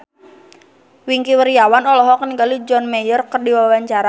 Wingky Wiryawan olohok ningali John Mayer keur diwawancara